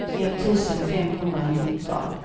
etttusen femhundranitton